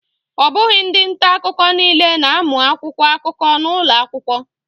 Ọ bụghị ndị nta akụkọ niile na-amụ akwụkwọ akụkọ n'ụlọ akwụkwọ